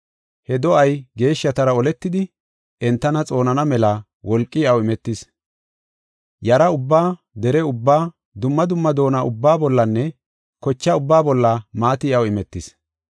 He do7ay geeshshatara oletidi, entana xoonana mela wolqi iyaw imetis. Yara ubbaa, dere ubbaa, dumma dumma doona ubbaa bollanne koche ubbaa bolla maati iyaw imetis.